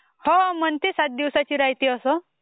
हो म्हणती असं सात दिवसांची राह्यते असं..